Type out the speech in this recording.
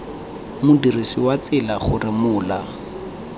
modirisi wa tsela gore mola